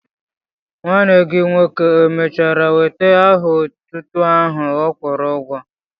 Nwanne gị nwoke èmèchara nweta aha otútú áhù ọ kwụrụ ụgwọ?